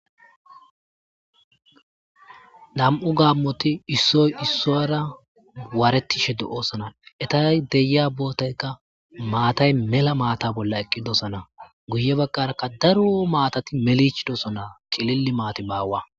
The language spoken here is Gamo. nam7u gaammoti issoy issoyara waaretishe do7oosana etay deya bootaykka maatay mela maata bolla eqqidosana guye bagqaraka daro maatati melichi dosana qililli maati baawa